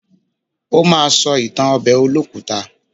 Ó ma sọ ìtàn ọbẹ̀ olókùta.